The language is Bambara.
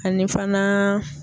Ani fana.